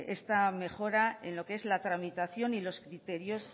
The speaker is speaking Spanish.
esta mejora en lo que es la tramitación y los criterios